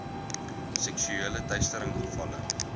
seksuele teistering gevalle